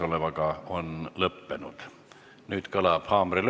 Nüüd kõlab haamrilöök, mis avab suurepärased võimalused võtta sõna vabas mikrofonis.